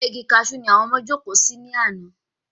Abẹ́ Igi Kaṣú ni àwọn ọmọ jókòó sí ní àná